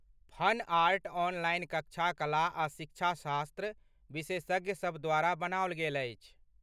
Fun art online कक्षा कला आ शिक्षाशास्त्र विशेषज्ञ सभ द्वारा बनाओल गेल अछि।